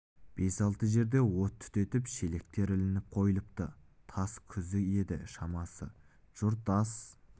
бес-алты жерде от түтеп шелектер ілініп қойылыпты түс кезі еді шамасы жұрт ас